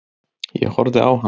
Ég horfði á hann.